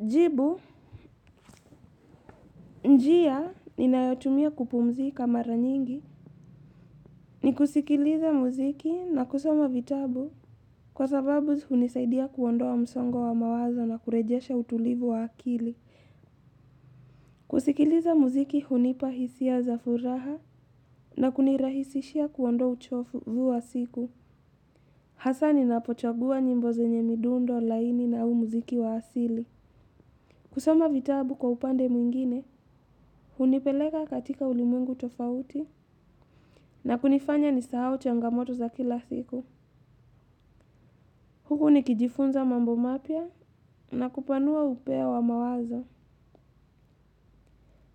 Jibu, njia ninayotumia kupumzika mara nyingi ni kusikiliza muziki na kusoma vitabu kwa sababu hunisaidia kuondoa msongo wa mawazo na kurejesha utulivu wa akili. Kusikiliza muziki hunipa hisia za furaha na kunirahisishia kuondoa uchofu vu wa siku. Hasaa ninapochagua nyimbo zenye midundo laini na huu muziki wa asili. Kusoma vitabu kwa upande mwingine, hunipeleka katika ulimwengu tofauti na kunifanya nisahau changamoto za kila siku. Huku nikijifunza mambo mapya na kupanua upeo wa mawazo.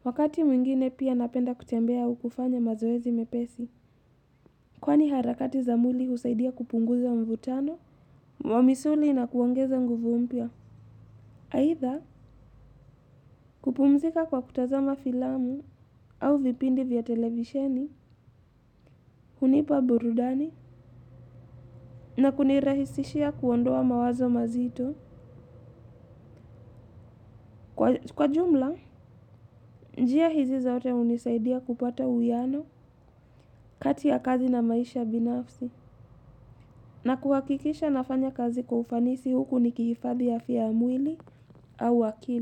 Wakati mwingine pia napenda kutembea au kufanya mazoezi mepesi. Kwani harakati za mwili husaidia kupunguza mvutano, wa misuli na kuongeza nguvu mpya. Aidha kupumzika kwa kutazama filamu au vipindi vya televisheni, hunipa burudani na kunirahisishia kuondoa mawazo mazito. Kwa jumla, njia hizi zote hunisaidia kupata uwiano kati ya kazi na maisha binafsi na kuhakikisha nafanya kazi kwa ufanisi huku nikihifadhi afya ya mwili au akili.